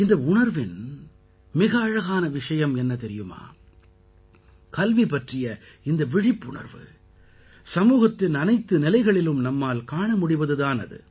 இந்த உணர்வின் மிக அழகான விஷயம் என்ன தெரியுமா கல்வி பற்றிய இந்த விழிப்புணர்வு சமூகத்தின் அனைத்து நிலைகளிலும் நம்மால் காண முடிவது தான் அது